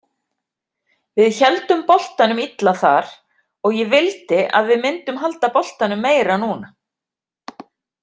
Við héldum boltanum illa þar og ég vildi að við myndum halda boltanum meira núna.